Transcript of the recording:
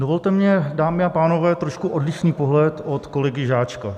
Dovolte mi, dámy a pánové, trošku odlišný pohled od kolegy Žáčka.